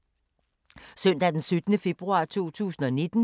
Søndag d. 17. februar 2019